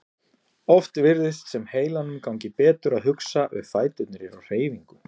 Oft virðist sem heilanum gangi betur að hugsa ef fæturnir eru á hreyfingu.